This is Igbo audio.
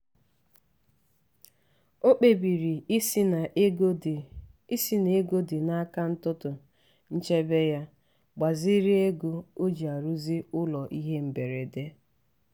o kpebiri isi n'ego dị isi n'ego dị n'akaụntụ nchebe ya gbaziri ego o ji arụzi ụlọ ihe mberede.